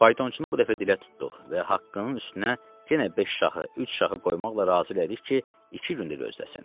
Faytonçunu bu dəfə dilə tutduq və haqqının üstünə yenə beş şahı, üç şahı qoymaqla razı elədik ki, iki gün də gözləsin.